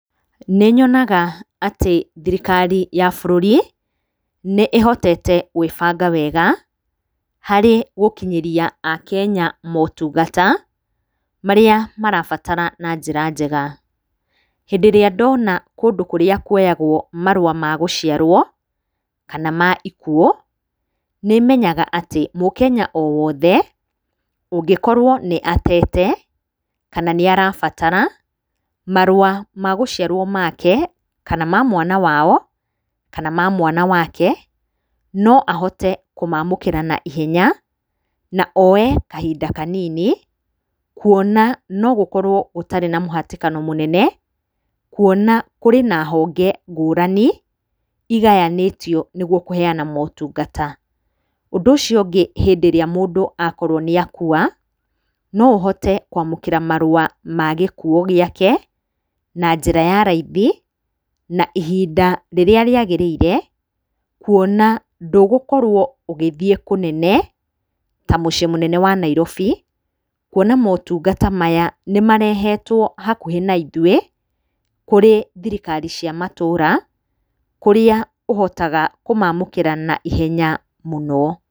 Nĩnyonaga atĩ thirikari ya bũrũri, nĩĩhotete gwĩbanga wega, harĩ gũkinyĩria akenya motungata, marĩa marabatara na njĩra njega. Hĩndĩ ĩrĩa ndona kũndũ kũrĩa kuoyagwo marũa ma gũciarwo, kana ma ikuũ, nĩmenyaga mũkenya owothe, ũngĩkorwo nĩ atete, kana nĩarabatara, marũa ma gũciarwo make, kana ma mwana wao, kana ma mwana wake, no ahote kũmamũkĩra na ihenya, na oe kahinda kanini. Kuona no gũkorwo gũtarĩ na mũhatĩkano mũnene, kuona kũrĩ na honge ngũrani igayanĩtio nĩguo kũheyana motungata. Ũndũ ũcio ũngĩ hĩndĩ ĩrĩa mũndũ akorwo nĩakua, no ũhote kwamũkĩra marũa ma gĩkuũ gĩake, na njĩra ya raithi, na ihinda rĩrĩa rĩagĩrĩire, kuona ndũgũkorwo ũgĩthiĩ kũnene, ta mũciĩ mũnene wa Nairobi. Kuona motungata maya nĩmarehetwo hakuhĩ na ithuĩ, kũrĩ thirikari cia matũra, kũrĩa ũhotaga kũmamũkĩra na ihenya mũno.